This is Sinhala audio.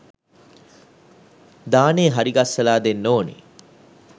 දානේ හරි ගස්සලා දෙන්න ඕන